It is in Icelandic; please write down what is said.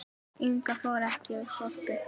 Inga fór ekki í Sorpu.